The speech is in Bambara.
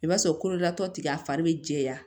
I b'a sɔrɔ kololatɔ ti a fari be jɛya